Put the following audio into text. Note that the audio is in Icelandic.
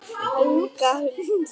Inga Huld.